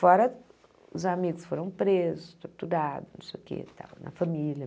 Fora os amigos foram presos, torturados não sei o que e tal, na família.